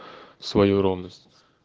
свою ровность